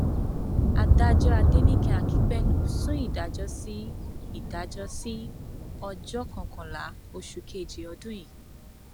adájọ adẹnìke akínpẹlú sún ìdájọ sí ìdájọ sí ọjọ kọkànlá oṣù kejì ọdún yìí